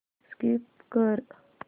skip कर